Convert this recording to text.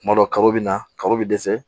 Kuma dɔ ka bɛ na kabaw bɛ dɛsɛ